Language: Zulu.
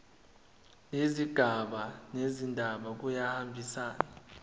nezigaba zendaba kuyahambisana